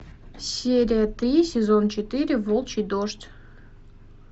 серия три сезон четыре волчий дождь